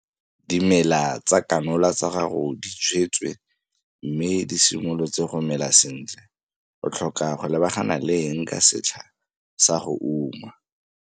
Dimela tsa kanola tsa gago di jwetswe mme di simolotse go mela sentle. O tlhoka go lebagana le eng ka setlha sa go uma?